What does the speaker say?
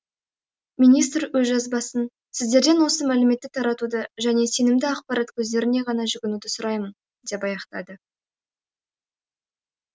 министр өз жазбасын сіздерден осы мәліметті таратуды және сенімді ақпарат көздеріне ғана жүгінуді сұраймын деп аяқтады